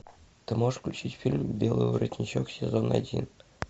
ты можешь включить фильм белый воротничок сезон один